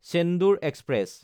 Chendur express